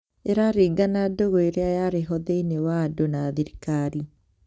ĩraringana ndũgũ ĩrĩa yarĩho thĩinĩ wa andũ na thirikari